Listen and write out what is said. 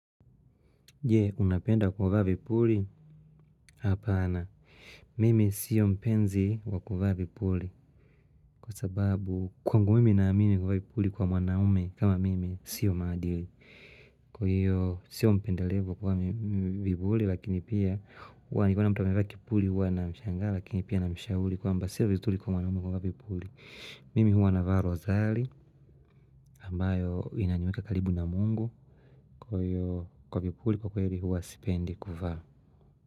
Je, unapenda kuvaa vipuli? Hapana, mimi sio mpenzi wa kuvaa vipuli. Kwa sababu, kwangu mimi naamini kuvaa vipuli kwa mwanaume kama mimi sio maadili. Kwa hiyo, sio mpendelewa kuvaa vipuli, lakini pia, huwa nikiona mtu amevaa kipuli huwa namshanga, lakini pia namshahuli, kwamba sio vizuli kwa mwanaume kuvaa vipuli. Mimi huwa navaa rozali, ambayo inaniweka karibu na mungu, kwa hiyo kwa vipuli, kwa kweli huwa sipendi kuvaa.